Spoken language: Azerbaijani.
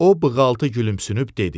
O bığaltı gülümsünüb dedi: